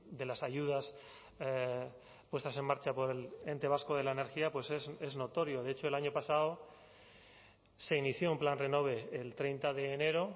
de las ayudas puestas en marcha por el ente vasco de la energía pues es notorio de hecho el año pasado se inició un plan renove el treinta de enero